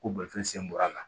Ko bolifɛn sen bɔra a la